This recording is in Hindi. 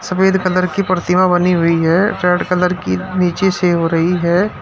सफेद कलर की प्रतिमा बनी हुई है। रेड कलर की नीचे से हो रही है।